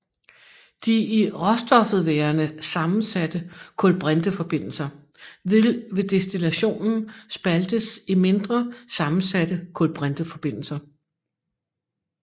De i råstoffet værende sammensatte kulbrinteforbindelser vil ved destillationen spaltes i mindre sammensatte kulbrinteforbindelser